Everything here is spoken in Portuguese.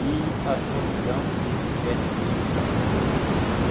E a solidão, nesses sete meses, para mim foi muito cruel.